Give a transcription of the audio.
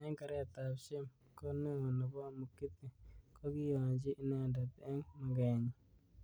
Eng keret ab shem ko neo nebo mugithi kokiyonchi inendet eng maget nyi